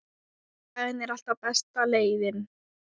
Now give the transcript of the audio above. Sagan er alltaf besta leiðin.